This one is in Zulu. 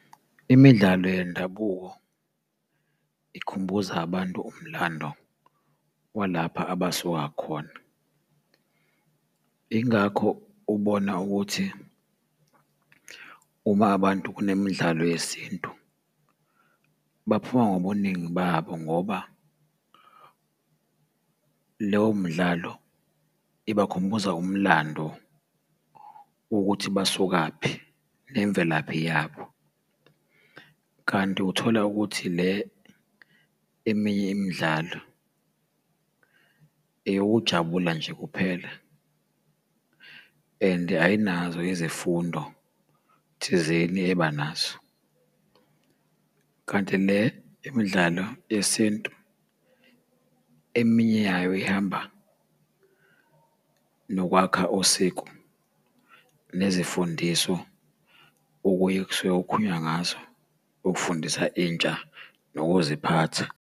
Imidlalo yendabuko ikhumbuza abantu umlando walapha abasuka khona, ingakho ubona ukuthi uma abantu kunemidlalo yesintu baphuma ngobuningi babo, ngoba leyo mdlalo ibakhumbuza umlando wokuthi basukaphi, nemvelaphi yabo. Kanti uthola ukuthi le eminye imidlalo eyokujabula nje kuphela, and ayinazo izifundo thizeni eba nazo, kanti le imidlalo yesintu, eminye yayo ihamba nokwakha usiko nezifundiso okunye kusuke kukhulunywa ngazo ukufundisa intsha nokuziphatha.